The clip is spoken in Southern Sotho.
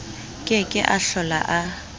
ke ke a hlola a